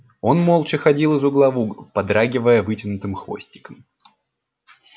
он молча ходил из угла в угол подрагивая вытянутым хвостиком